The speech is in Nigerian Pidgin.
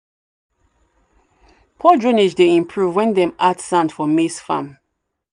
poor drainage dey improve when dem add sand for maize farm."